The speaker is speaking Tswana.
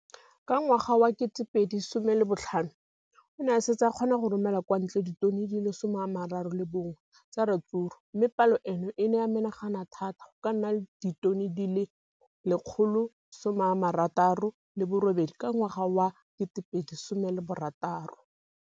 Ka ngwaga wa 2015, o ne a setse a kgona go romela kwa ntle ditone di le 31 tsa ratsuru mme palo eno e ne ya menagana thata go ka nna ditone di le 168 ka ngwaga wa 2016.